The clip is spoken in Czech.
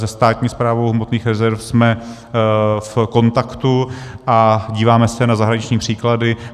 Se Státní správou hmotných rezerv jsme v kontaktu a díváme se na zahraniční příklady.